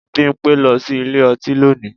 Bímpé lọ sí ilé ọtí lónìí